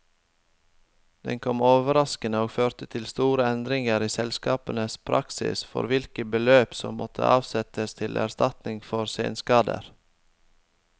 Den kom overraskende, og førte til store endringer i selskapenes praksis for hvilke beløp som måtte avsettes til erstatninger for senskader.